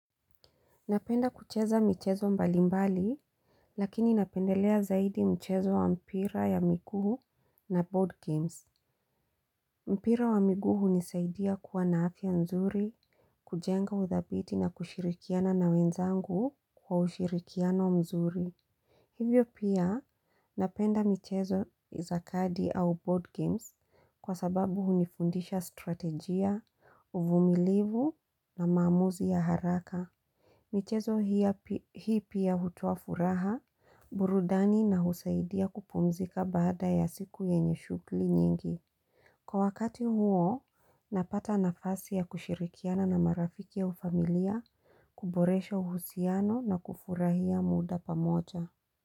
Napenda kucheza michezo mbalimbali, lakini napendelea zaidi mchezo wa mpira ya miguu na board games. Mpira wa miguu hunisaidia kuwa na afya nzuri, kujenga udhabiti na kushirikiana na wenzangu kwa ushirikiano mzuri. Hivyo pia napenda mchezo za kadi au board games kwa sababu hunifundisha strategia, uvumilivu na mamuzi ya haraka. Michezo hii pia hutoa furaha, burudani na husaidia kupumzika baada ya siku yenye shughuli nyingi. Kwa wakati huo, napata nafasi ya kushirikiana na marafiki au familia, kuboresha uhusiano na kufurahia muda pamoja.